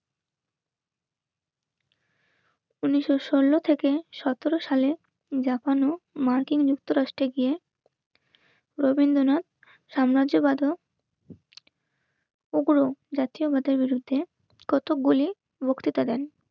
উনিশশো-ষোলো থেকে সতেরো সালে জাপানু মার্কিন যুক্তরাষ্ট্রে গিয়ে রবীন্দ্রনাথ সাম্রাজ্যবাদ উগ্র জাতীয় পতাকার বিরুদ্ধে কতগুলি বক্তৃতা দেন